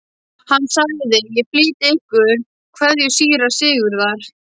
Hann sagði:-Ég flyt ykkur kveðju síra Sigurðar.